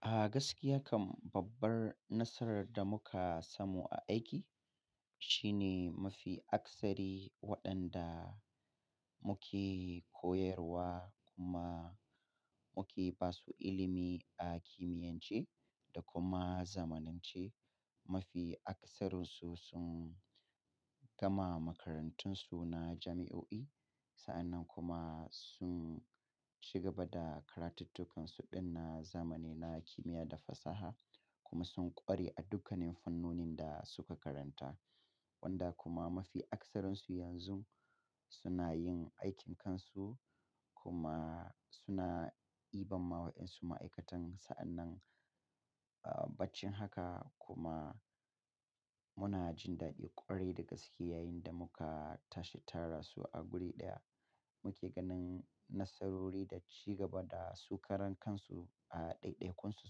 A gaskiya kam babbar nasarar da muka samu a aiki shine mafi akasari waɗanda muke koyarwa kuma muke basu ilimi a kimiyance da kuma zamanance. Mafi akasarinsu sun gama makarantunsu na jami'o'i sa'annan kuma sun ci gaba da karatukkansu din na zamani na kimiyya da fasaha kuma sun ƙware a dukkanin fannonin da suka karanta. Wanda kuma mafi akasarinsu yanzun suna yin aikin kansu kuma suna diban ma waƴansu ma'aikatan sa'annan, baici haka kuma muna jin daɗin ƙwarai dagaske yayinda muka tashi tara su a guri ɗaya. Muke ganin nasarori da ci gaba da su karan kansu a ɗaiɗaikunsu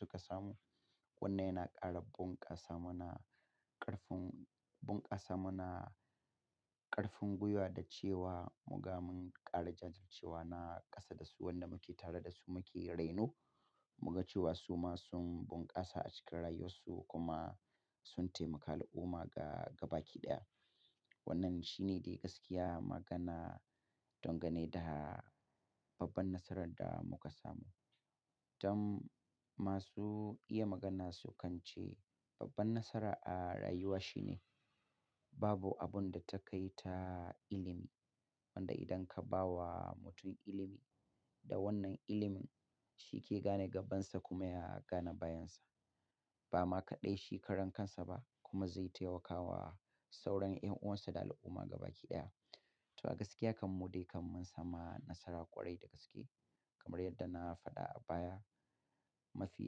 suka samu. Wannan yana ƙara bunƙasa mana ƙarfin, bunƙasa mana ƙarfin gwiwa da cewa muga mun ƙara jajircewa na ƙasa da su wanda muke tare da su muke raino. Muga cewa su ma sun bunƙasa a cikin rayuwarsu kuma sun taimaka al'umma ga gaba kiɗaya. Wannan shine dai gaskiya magana dangane da babban nasarar da muka samu. Don masu iya magana sukan ce, babban nasara a rayuwa shine babu abun da ta kai ta ilimi. Wanda idan ka bawa mutum ilimi da wannan ilimin shi ke gane gabansa kuma ya gane bayansa. Ba ma kaɗai shi karan kansa ba kuma zai tamaka wa sauran ƴan uwansa da al'umma gaba kiɗaya. To a gaskiya kam mu dai kam mun samu nasara ƙwarai da gaske kamar yadda na faɗa a baya. Mafi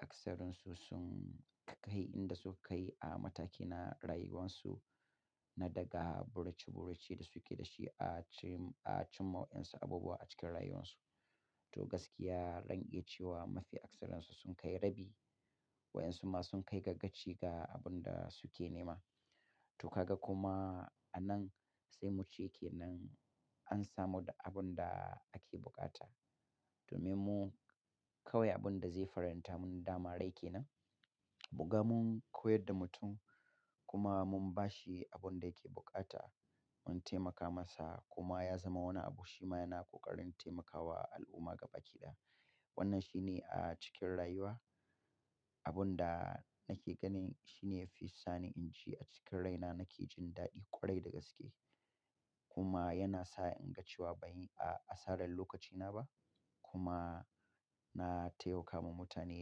akasarinsu sun kai inda suka kai a mataki na rayuwarsu na daga burace burace da suke da shi a cikin, a cimma ma wayansu abubuwa cikin rayuwarsu. To gaskiya, zan iya cewa mafi akasarinsu sun kai rabi wa ƴan su ma sun kai ga gaci ga abun da suke nema. To ka ga kuma anan sai mu ce ke nan an samu da abun da ake buƙata. Domin mu kawai abun da zai faranta mun dama rai kenan. Muga mun koyar da mutum kuma mun bashi abun da yake buƙata, mun taimaka masa kuma ya zama wani abu shi ma yana ƙoƙarin taimakawa al'umma gaba kiɗaya. Wannan shine a cikin rayuwa abun da nake ganin shine yafi sani inji a cikin raina nake jin ɗadi ƙwarai da gaske. Kuma yana sa in ga cewa ban yi asarar lokacina ba kuma na taimakama mutane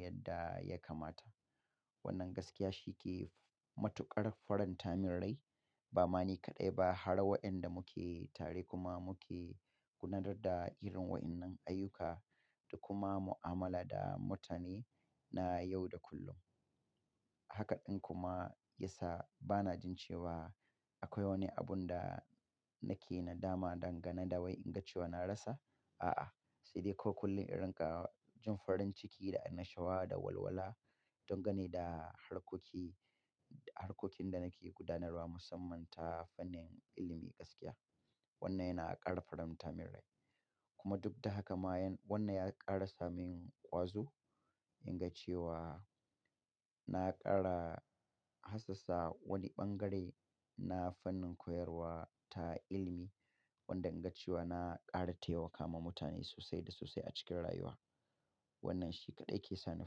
yadda ya kamata. Wannan gaskiya shi ke matuƙar faranta min rai ba ma ni kaɗai ba har waƴanda muke tare kuma muke gudanar da irin waƴannan ayyuka da kuma mu'amala da mutane na yau da kullum. Haka ɗin kuma ya sa bana jin cewa akwai wani abun da nake nadama dangane da wai in ga cewa na rasa. A'a, saidai kawai in kullin in rinka jin farin ciki da annashuwa da walwala dangane da harkoki-- harkokin da nake gudanarwa musamman ta fannin ilimi gaskiya. Wannan yana ƙara faranta min rai kuma duk da haka ma yan, wannan ya ƙara sa min ƙwazo in ga cewa na ƙara hassassa wani bangare na fannin koyarwa ta ilimi wanda in ga cewa na ƙara tayawa mutane sosai da sosai a cikin rayuwa. Wannan shi kaɗai ke sani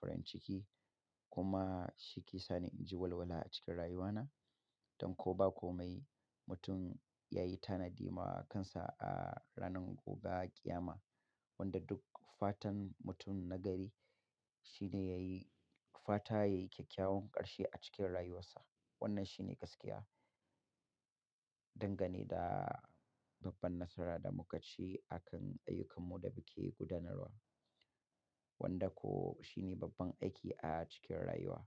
farin ciki kuma shi ke sani inji walwala a cikin rayuwana. Don ko ba komai mutum yayi tanadi ma kansa a ranar guga ƙiyama wanda duk fatan mutum na gari shine yayi fata yayi kyakkyawan ƙarshe a cikin rayuwarsa. Wannan shine gaskiya dangane da babban nasara da muka ci akan ayyukan mu da muke gudanarwa. Wanda ko shine babban aiki a cikin rayuwa.